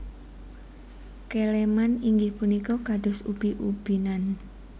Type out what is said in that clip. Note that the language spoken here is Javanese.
Keleman inggih punika kados ubi ubi nan